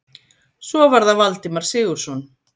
Svo var það Valdimar Sigurðsson.